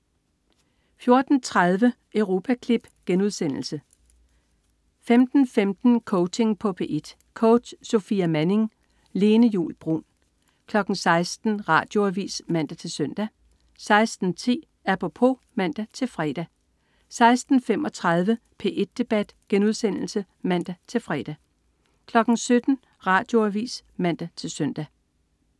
14.30 Europaklip* 15.15 Coaching på P1. Coach: Sofia Manning. Lene Juul Bruun 16.00 Radioavis (man-søn) 16.10 Apropos (man-fre) 16.35 P1 Debat* (man-fre) 17.00 Radioavis (man-søn)